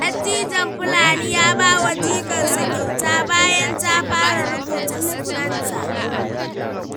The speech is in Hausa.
Dattijon Fulani ya ba wa jikarsa kyauta bayan ta fara rubuta sunanta.